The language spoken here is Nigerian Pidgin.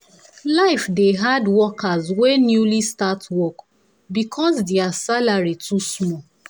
life dey hard workers wey newly start work because their salary too small.